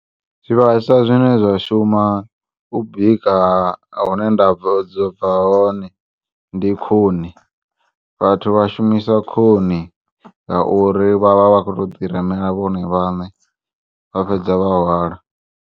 Zwivhaswa zwine zwashuma ubika hune ndabva hone ndi khuni, vhathu vhashumisa khuni ngauri vha vha vha kho to ḓiremela vhone vhane vhafhedza vha hwala.